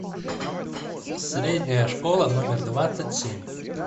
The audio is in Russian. средняя школа номер двадцать семь